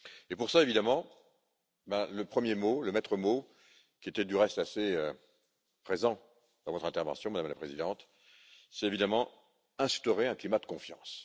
Pour cela, évidemment, le premier mot, le maître mot qui était, du reste, assez présent dans votre intervention, Madame la Présidente, c'est évidemment instaurer un climat de confiance.